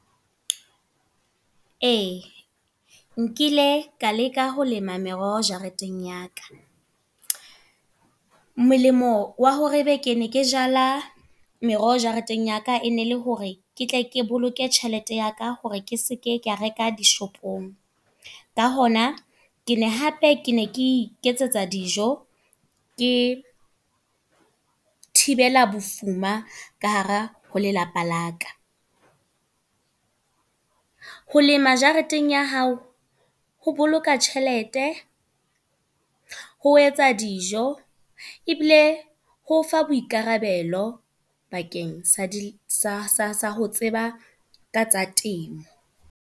Ee, nkile ka leka ho lema meroho jareteng ya ka. Molemo wa hore ebe ke ne ke meroho jareteng ya ka. E ne le hore ketle ke boloke tjhelete ya ka hore ke seke ka reka di-shop-ong. Ka hona ke ne hape ke ne ke iketsetsa dijo, ke thibela bofuma, ka hara ho lelapa la ka. Ho lema jareteng ya hao. Ho boloka tjhelete, ho etsa dijo. Ebile ho o fa boikarabelo bakeng sa ho tseba ka tsa temo.